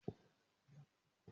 Ń ó lọ ra olómi Ọsàn ní ilé ìtajà ńlá